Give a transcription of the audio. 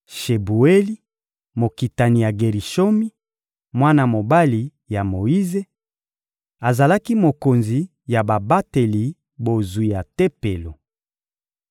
Shebueli, mokitani ya Gerishomi, mwana mobali ya Moyize, azalaki mokonzi ya babateli bozwi ya Tempelo.